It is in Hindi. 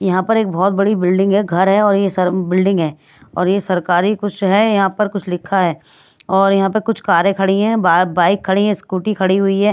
यहां पर एक बहोत बड़ी बिल्डिंग है घर है और ये सब बिल्डिंग है और ये सरकारी कुछ है यहां पर कुछ लिखा है और यहां पे कुछ कारे खड़ी है बाइक खड़ी है स्कूटी खड़ी हुई है।